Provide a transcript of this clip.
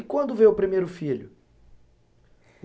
E quando veio o primeiro filho?